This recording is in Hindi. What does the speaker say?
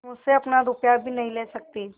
मुझसे अपना रुपया भी नहीं ले सकती